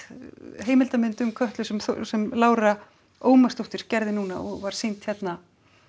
heimildarmynd um Kötlu sem sem Lára Ómarsdóttir gerði núna og var sýnd hérna